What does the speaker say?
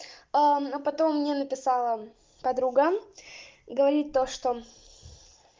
ну потом мне написала подруга говорит то что